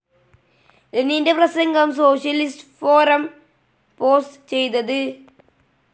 ലെനിന്റെ പ്രസംഗം socialist forum post ചെയ്തത്